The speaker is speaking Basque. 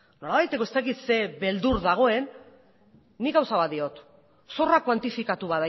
nolabaiteko ez dakit ze beldur dagoen nik gauza bat diot zorrak kuantifikatu